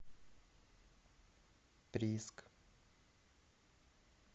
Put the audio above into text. прииск